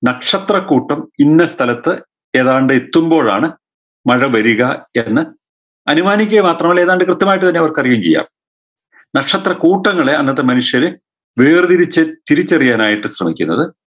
നക്ഷത്രക്കൂട്ടം ഇന്ന സ്ഥലത്ത് ഏതാണ്ട് എത്തുമ്പോഴാണ് മഴ വരിക എന്ന് അനുമാനിക്കുക മാത്രമല്ല ഏതാണ്ട് കൃത്യമായ് തന്നെ അവർക്ക് അറിയുകയും ചെയ്യാം നക്ഷത്രക്കൂട്ടങ്ങളെ അന്നത്തെ മനുഷ്യര് വേർതിരിച്ച് തിരിച്ചറിയാനായിട്ട് ശ്രമിക്കുന്നത്